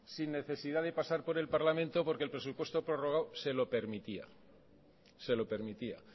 sin necesidad de pasar por el parlamento porque el presupuesto prorrogado se lo permitía